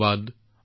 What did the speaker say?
নমস্কাৰ